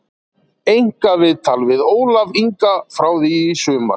Einkaviðtal við Ólaf Inga frá því í sumar